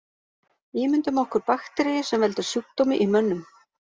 Ímyndum okkur bakteríu sem veldur sjúkdómi í mönnum.